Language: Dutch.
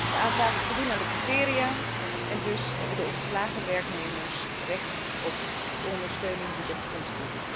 De aanvragen voldoen aan de criteria en dus hebben de ontslagen werknemers recht op ondersteuning uit dit fonds.